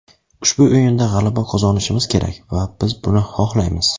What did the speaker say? Ushbu o‘yinda g‘alaba qozonishimiz kerak va biz buni xohlaymiz.